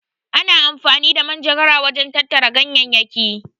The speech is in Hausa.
Ana amfani da manjagara wajen tattara ganyayyaki.